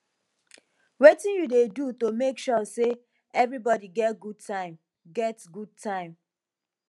wetin you dey do to make sure say everybody get good time get good time